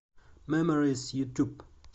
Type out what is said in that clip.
меморис ютуб